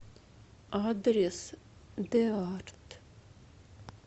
адрес деарт